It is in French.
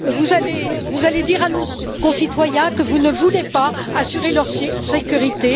Allez vous dire à nos concitoyens que vous ne voulez pas assurer leur sécurité